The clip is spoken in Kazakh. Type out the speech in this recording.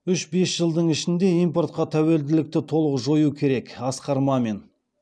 үш бес жылдың ішінде импортқа тәуелділікті толық жою керек асқар мамин